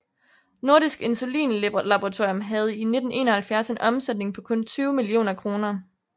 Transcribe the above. Nordisk Insulinlaboratorium havde i 1971 en omsætning på kun 20 millioner kroner